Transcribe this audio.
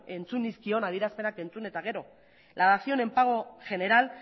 entzun nizkion adierazpenak entzun eta gero la dación en pago general